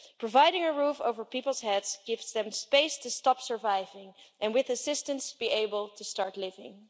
Providing a roof over people's heads gives them space to stop surviving and, with assistance, to be able to start living.